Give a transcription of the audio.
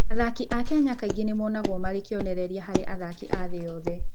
Ateng'eri a Kenya kaingĩ nĩ monagwo marĩ kĩonereria harĩ athaki a thĩ yothe. Athaki a Kenya h